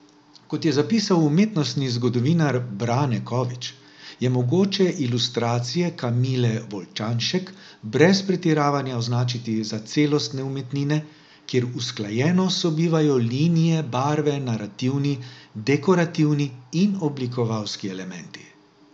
Kot je zapisal umetnostni zgodovinar Brane Kovič, je mogoče ilustracije Kamile Volčanšek brez pretiravanja označiti za celostne umetnine, kjer usklajeno sobivajo linije, barve, narativni, dekorativni in oblikovalski elementi.